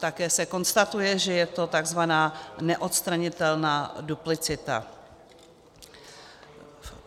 Také se konstatuje, že je to takzvaná neodstranitelná duplicita.